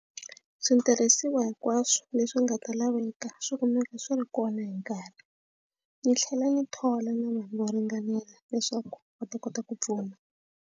Switirhisiwa hinkwaswo leswi nga ta laveka swi kumeka swi ri kona hi nkarhi ni tlhela ni thola na vanhu vo ringanela leswaku va ta kota ku pfuna.